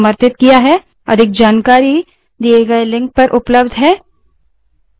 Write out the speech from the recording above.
अधिक जानकारी दिए गए link पर उपलब्ध है